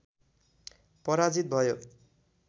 पराजित भयो